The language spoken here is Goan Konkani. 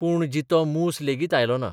पूण जितो मूस लेगीत आयलो ना.